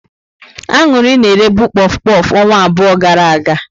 Aṅụrị na eré bụ kpof kpof ọnwa abụọ gara aga.